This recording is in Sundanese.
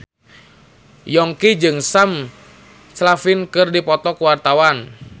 Yongki jeung Sam Claflin keur dipoto ku wartawan